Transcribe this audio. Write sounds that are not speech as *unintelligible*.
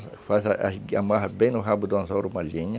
*unintelligible* Amarra bem no rabo do anzol uma linha.